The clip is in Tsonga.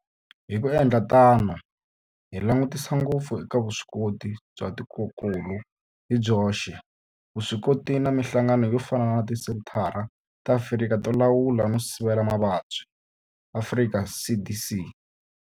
Hi ku endla tano hi langutisa ngopfu eka vuswikoti bya tikokulu hi byoxe, vuswikoti na mihlangano yo fana na Tisenthara ta Afrika to Lawula no Sivela Mavabyi, Afrika CDC.